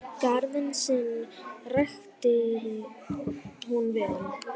Garðinn sinn ræktaði hún vel.